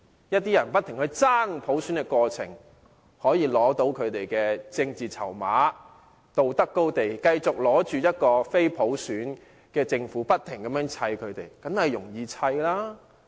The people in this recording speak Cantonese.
有些人在不斷爭取普選的過程中，取得所需要的政治籌碼，站在道德高地，繼續以政府並非普選產生為理由，不停地"砌"政府，這樣當然易辦。